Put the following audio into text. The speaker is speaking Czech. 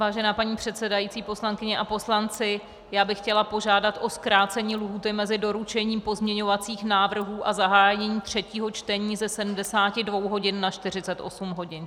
Vážená paní předsedající, poslankyně a poslanci, já bych chtěla požádat o zkrácení lhůty mezi doručením pozměňovacích návrhů a zahájením třetího čtení ze 72 hodin na 48 hodin.